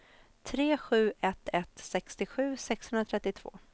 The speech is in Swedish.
tre sju ett ett sextiosju sexhundratrettiotvå